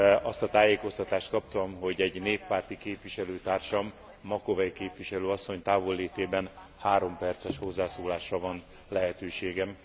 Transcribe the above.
Azt a tájékoztatást kaptam, hogy egy néppárti képviselőtársam, Macovei képviselőasszony távollétében három perces hozzászólásra van lehetőségem.